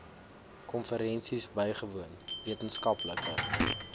konferensies bygewoon wetenskaplike